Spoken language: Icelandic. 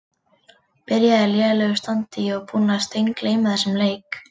Byrjaði í lélegu standi Ég var búinn að steingleyma þessum leik.